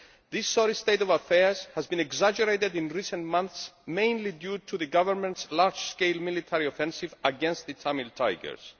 This sorry state of affairs has been exacerbated in recent months mainly due to the Government's large scale military offensive against the Tamil Tigers.